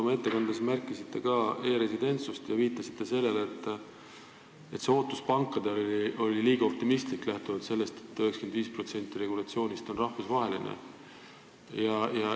Oma ettekandes märkisite ka e-residentsust ja viitasite sellele, et ootus pankadele oli liiga optimistlik, kuivõrd 95% regulatsioonist on rahvusvaheline.